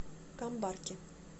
камбарки